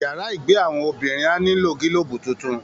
Yàrá ìgbé àwọn obìnrin á nílò gílóòbù tuntun